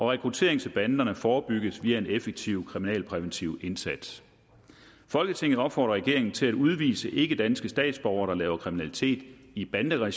rekruttering til banderne forebygges via en effektiv kriminalpræventiv indsats folketinget opfordrer regeringen til at udvise ikkedanske statsborgere der laver kriminalitet i banderegi